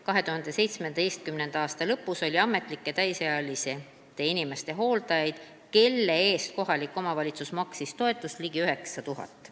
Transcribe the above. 2017. aasta lõpus oli ametlikke täisealiste inimeste hooldajaid, kelle eest kohalik omavalitsus maksis toetust, ligi 9000.